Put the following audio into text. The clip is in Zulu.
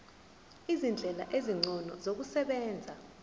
izindlela ezingcono zokusebenza